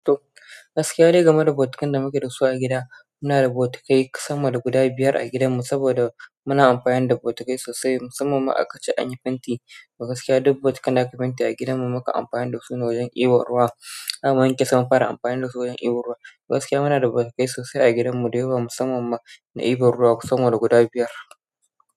To gaskiya dai game da botukan da muke da su a gida, muna da botukai sama da guda biyar a gidanmu saboda muna amfani da botukai sosai. Musamman ma a kaci an yi fenti, to gaskiya duk botukan da aka fenti a gidanmu muka yi amfani da su wajen iban ruwa. An ma yanke sama fara amfani da su wajen iwon ruwa. Da gaskiya muna da bautukai sosai a gidanmu da yawa musamman na ibon ruwa sama da guda biyar.